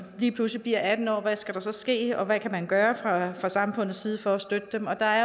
lige pludselig bliver atten år hvad skal der så ske og hvad kan man gøre fra samfundets side for at støtte dem og der er